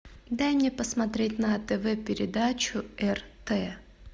дай мне посмотреть на тв передачу рт